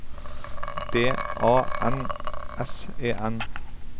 D A N S E N